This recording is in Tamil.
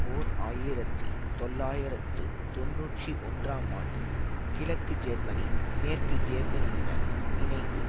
ஓர் ஆயிரத்தி தொள்ளாயிரத்து தொன்னூற்றி ஒன்றாம் ஆண்டு கிழக்கு ஜெர்மனி மேற்கு ஜேர்மனியுடன் இணைந்து